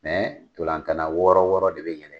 Mɛ ntola tana wɔɔrɔ wɔɔrɔ de bɛ yɛlɛn.